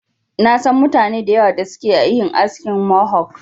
Na san mutane da yawa da suke yin askin Mohok.